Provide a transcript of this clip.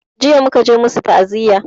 Jiya muka je masu ta'aziya